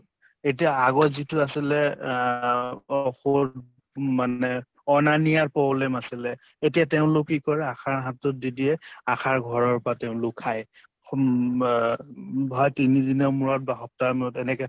এতিয়া আগত যিটো আছিলে আহ ঔষধ উম মা নে অনা নিয়াৰ problem আছিলে, এতিয়া তেওঁলোক কি কৰে ASHA ৰ হাতত দি দিয়ে, ASHA ৰ ঘৰৰ পৰা তেওঁলোক খায়। তিনি দিনৰ মূৰত বা সপ্তাহৰ মূৰত এনেকে